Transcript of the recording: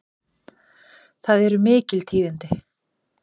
Það eru mikil tíðindi!